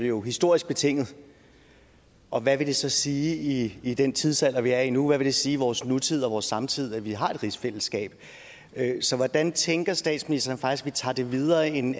jo historisk betinget og hvad vil det så sige i den tidsalder vi er i nu hvad vil det sige i vores nutid og vores samtid at vi har et rigsfællesskab så hvordan tænker statsministeren at vi tager det videre end